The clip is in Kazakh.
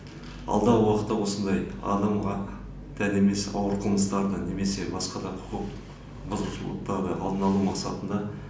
алдағы уақытта осындай адамға тән емес ауыр қылмыстарды немесе басқа да құқық бұзушылықтарды алдын алу мақсатында